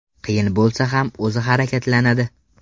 Qiyin bo‘lsa ham o‘zi harakatlanadi.